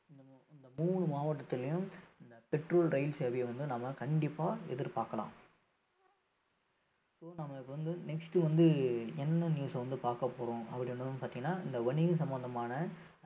இந்த மூணு மாவட்டத்திலேயும் இந்த metro ரயில் சேவையை வந்து நாம கண்டிப்பா எதிர்பார்க்கலாம் so நம்ம இப்ப வந்து next வந்து என்ன news அ வந்து பார்க்கப் போறோம் அப்படின்னு பார்த்தீங்கன்னா இந்த வணிகம் சம்பந்தமான